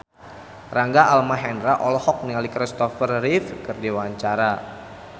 Rangga Almahendra olohok ningali Kristopher Reeve keur diwawancara